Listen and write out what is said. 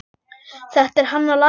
Þetta er hann að læra!